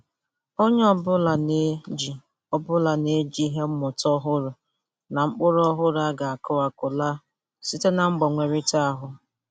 Onye obụla na-eji obụla na-eji ihe mmụta ọhụrụ na mkpụrụ ọhụrụ a ga-aku akụ laa site na mgbanwerịta ahụ.